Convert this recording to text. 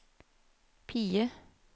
PIE